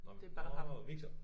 Nåmen nårh Victor